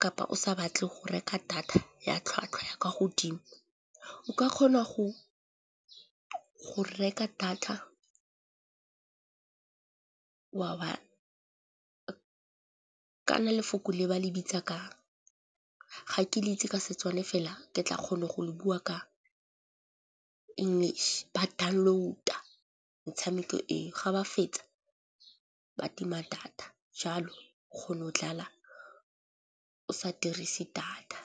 Kapa o sa batle go reka data ya tlhwatlhwa ya kwa godimo o ka kgona go reka data, kana lefoko le ba le bitsa kang ga ke le itse ka setswana fela ke tla kgone go bua ka English, ba download-a metshameko eo ga ba fetsa ba tima data. Jalo o kgona go dlala o sa dirise data.